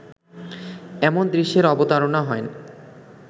এমন দৃশ্যের অবতারনা হয়